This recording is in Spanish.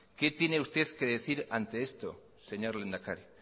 qué tiene usted que decir ante esto señor lehendakari